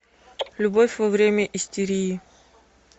любовь во время истерии